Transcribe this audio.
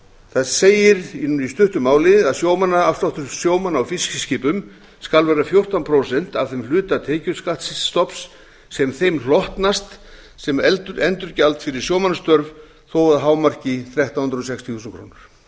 það segir í stuttu máli að sjómannaafsláttur sjómanna á fiskiskipum skal vera fjórtán prósent af þeim hluta tekjuskattsstofns sem þeim hlotnast sem endurgjald fyrir sjómannastörf þó að hámarki þrettán hundruð sextíu þúsund krónur